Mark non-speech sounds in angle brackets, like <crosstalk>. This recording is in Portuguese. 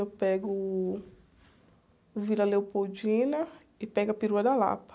Eu pego o <unintelligible> e pego a perua da. <unintelligible>